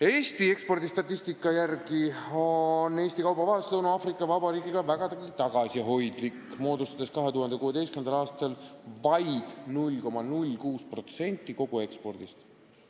Eesti ekspordistatistika järgi on Eesti kaubavahetus Lõuna-Aafrika Vabariigiga vägagi tagasihoidlik, see moodustas 2016. aastal vaid 0,06% koguekspordist.